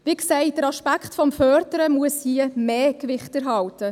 Wie gesagt, der Aspekt des Förderns muss hier mehr Gewicht erhalten.